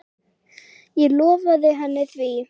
Ég lofaði henni því.